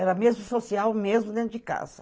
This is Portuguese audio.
Era mesmo social, mesmo dentro de casa.